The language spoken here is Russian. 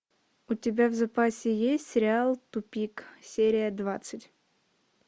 у тебя в запасе есть сериал тупик серия двадцать